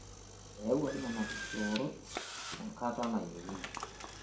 Eyawuaki nena kishoorot enkata nayieuni